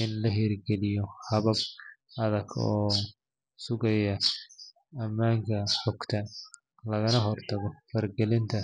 in la hirgeliyo habab adag oo sugaya ammaanka xogta, lagana hortago faragelinta.